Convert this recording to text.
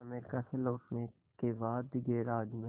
America से लौटने के बाद गैराज में